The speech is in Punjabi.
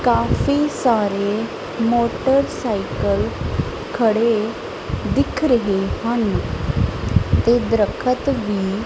ਕਾਫੀ ਸਾਰੇ ਮੋਟਰਸਾਈਕਲ ਖੜੇ ਦਿੱਖ ਰਹੇ ਹਨ ਤੇ ਦਰੱਖਤ ਵੀ --